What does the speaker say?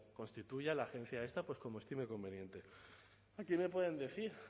constituya la agencia esta como estime conveniente aquí me pueden decir